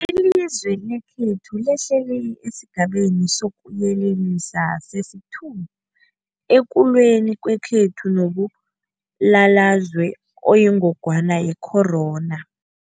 Ilizwe lekhethu lehlele esiGabeni sokuYelelisa sesi-2 ekulweni kwethu nombulalazwe oyingogwana ye-corona.